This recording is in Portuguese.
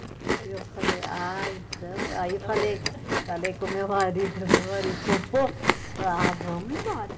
Aí eu falei, ah, então, aí eu falei falei com o meu marido, meu marido topou, ah, vamos embora.